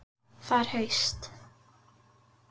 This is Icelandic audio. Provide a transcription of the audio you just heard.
Það er haust.